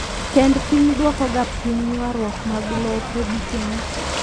Tend piny duokoga piny yuaruok mag lope gikeni.